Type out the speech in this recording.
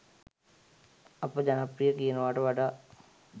අප ජනප්‍රිය කියනවාට වඩා